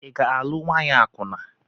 Ị ga-alụ nwaanyị akwụna?